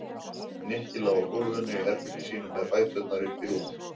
Nikki lá á gólfinu í herberginu sínu með fæturna uppi í rúmi.